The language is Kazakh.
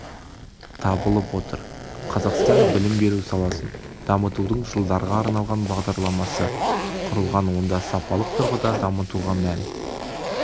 табылып отыр қазақстан білім беру саласын дамытудың жылдарға арналған бағдарламасы құрылған онда сапалық тұрғыда дамытуға мән